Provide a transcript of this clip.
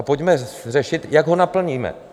A pojďme řešit, jak ho naplníme.